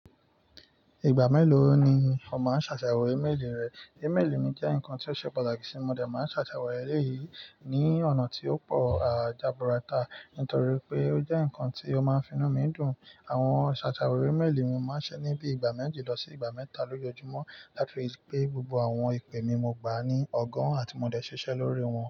Ìgbà mélòó ni o máa ń ṣàyewo ímélì rẹ? Ímélì mi jẹ́ nǹkan tí ó ṣe pàtàkì sí mi, mo dà máa ń ṣàṣàwọ̀ ẹ̀lẹ́yìii ní ọ̀nà tí ó pọ̀ àjábọ̀rà tá. Nítorí pé ó jẹ́ ǹnkan tí ó máa ń fi inú mi dùn. Àwọn ṣàṣàwọ̀ íméelì mi máa ń ṣẹ níbi ìgbà méji lọ sí ìgbà mẹ́ta lójoojúmọ́. That is pé gbogbo àwọn ìpè mi mo gbà á ní ọ̀gàn àti mo dà ṣiṣẹ́ lórí wọn.